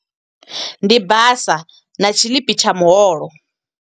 Ndi basa na tshiḽipi tsha muholo.